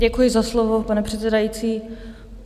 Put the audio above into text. Děkuji za slovo, pane předsedající.